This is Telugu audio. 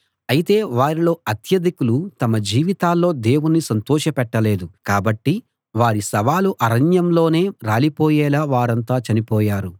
అయితే వారిలో అత్యధికులు తమ జీవితాల్లో దేవుణ్ణి సంతోషపెట్టలేదు కాబట్టి వారి శవాలు అరణ్యంలోనే రాలిపోయేలా వారంతా చనిపోయారు